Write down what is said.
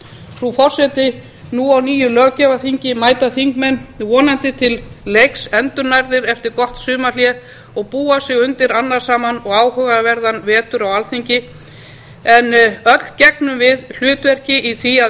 frú forseti nú á nýju löggjafarþingi mæta þingmenn vonandi til leiks endurnærðir eftir gott sumarhlé og búa sig undir annasaman og áhugaverðan vetur á alþingi en öll gegnum við hlutverki í því að